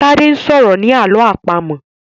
Tade sọrọ ní àlọ́ àpamọ̀.